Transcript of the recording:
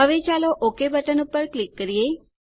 હવે ચાલો okay button ઉપર ક્લિક કરીએ